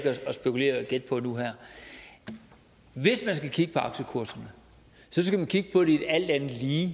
at spekulere og gætte på nu her hvis man skal kigge på aktiekurserne skal man kigge på et alt andet lige